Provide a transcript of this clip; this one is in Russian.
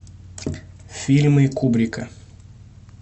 фильмы кубрика